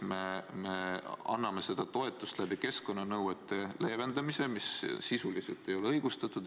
Me anname seda toetust keskkonnanõuete leevendamise hinnaga, mis sisuliselt ei ole õigustatud.